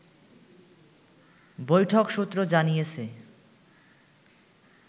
বৈঠক সূত্র জানিয়েছে